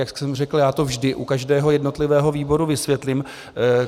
Jak jsem řekl, já to vždy u každého jednotlivého výboru vysvětlím.